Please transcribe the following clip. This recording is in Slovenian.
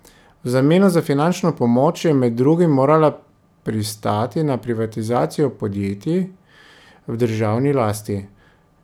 V zameno za finančno pomoč je med drugim morala pristati na privatizacijo podjetij v državni lasti.